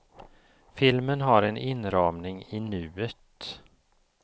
Filmen har en inramning i nuet.